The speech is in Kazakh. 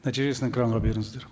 нәтижесін экранға беріңіздер